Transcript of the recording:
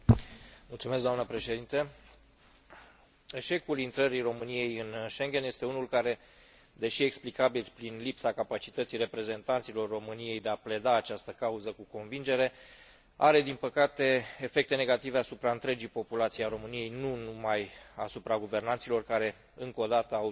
Eșecul intrării României în Schengen este unul care, deși explicabil prin lipsa capacității reprezentanților României de a pleda această cauză cu convingere, are din păcate efecte negative asupra întregii populații a României, nu numai asupra guvernanților care, încă odată, au demonstrat că nu sunt la înălțimea sarcinii încredințate.